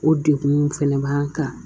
O degun fɛnɛ b'an kan